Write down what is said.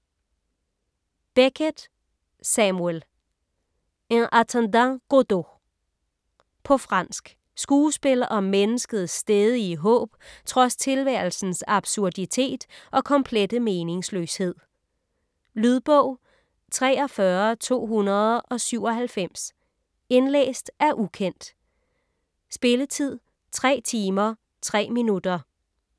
Beckett, Samuel: En attendant Godot På fransk. Skuespil om menneskets stædige håb trods tilværelsens absurditet og komplette meningsløshed. Lydbog 43297 Indlæst af ukendt. Spilletid: 3 timer, 3 minutter.